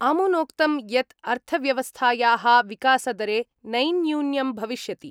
अमुनोक्तं यत् अर्थव्यवस्थायाः विकासदरे नैयून्यं भविष्यति।